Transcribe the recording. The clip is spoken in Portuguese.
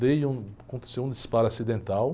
Dei um... Aconteceu um disparo acidental.